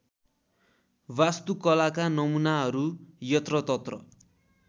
वास्तुकलाका नमूनाहरू यत्रतत्र